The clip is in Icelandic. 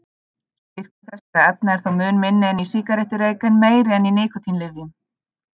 Styrkur þessara efna er þó mun minni en í sígarettureyk en meiri en í nikótínlyfjum.